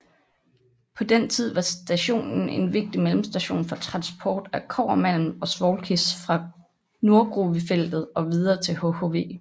På den tid var stationen en vigtig mellemstation for transport af kobbermalm og svovlkis fra Nordgruvefeltet og videre til hhv